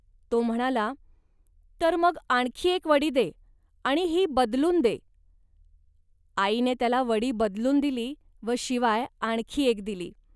तो म्हणाला, "तर मग आणखी एक वडी दे आणि ही बदलून दे. आईने त्याला वडी बदलून दिली व शिवाय आणखी एक दिली